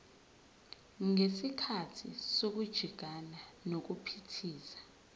ngesikhathi sokujingana nokuphithiza